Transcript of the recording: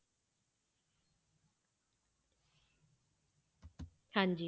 ਹਾਂਜੀ।